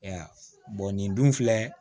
E y'a ye nin dun filɛ